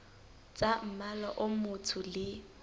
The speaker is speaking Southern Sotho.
tsa mmala o motsho le